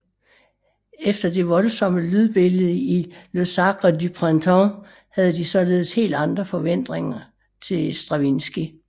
Efter det voldsomme lydbillede i Le Sacre du printemps havde de således helt andre forventninger til Stravinskij